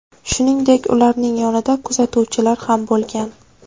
Shuningdek, ularning yonida kuzatuvchilar ham bo‘lgan.